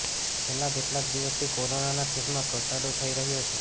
છેલ્લા કેટલાક દિવસથી કોરોનાના કેસમાં ઘટાડો થઇ રહ્યો છે